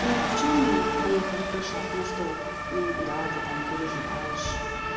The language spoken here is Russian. ну в чём поехала крыша окно что ну да ты там переживаешь